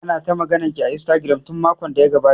Ana ta maganar ki a Instagram tun makon da ya gabata